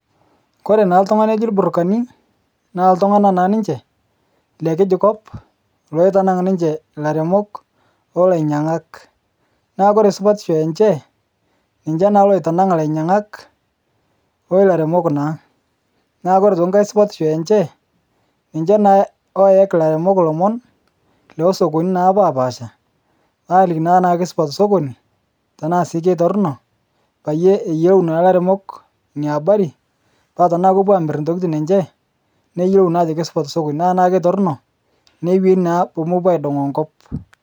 Kore naa ltung'ana loji lburukani naa ltung'ana naa ninche le kiji nkopi loitanang' ninche laremok oloinyang'ak. Naa kore supatisho enche ninche naa loitanang' lainyak olaremok naa. Naa kore aitoki nkae supatisho enche, ninche naa looyaki laremok lomon lesokonini napapaasha aaliki naa tanaa keisupat sokoni tanaa sii keitorno paye eyolou naa laremok nia abari paa tanaa kopo aamir ntokitin enche neyolou naake ajo keisupat sokoni ,naa tanaa keitorno neweni naa poomopo idong'oo nkop.